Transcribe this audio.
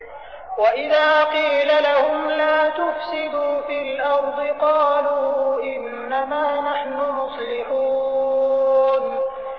وَإِذَا قِيلَ لَهُمْ لَا تُفْسِدُوا فِي الْأَرْضِ قَالُوا إِنَّمَا نَحْنُ مُصْلِحُونَ